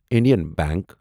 Indian bank